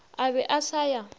a be a sa ya